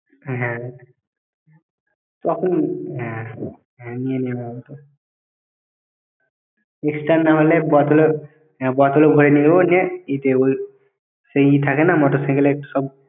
হ্যাঁ তখন হ্যাঁ হ্যাঁ নিয়ে নেব ওতো extra না হলে বোতলে হ্যাঁ বতলে ভরে নিয়ে যাব নিয়ে ইতে ওই সেই ই থাকে না motorcycle এর সব